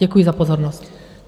Děkuji za pozornost.